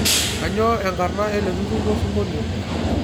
kainyio enkarna eleturur losingolio